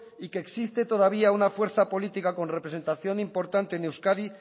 y que existe todavía una fuerza política con representación importante en euskadi